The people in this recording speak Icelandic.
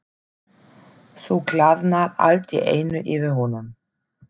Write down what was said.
Svo glaðnar allt í einu yfir honum.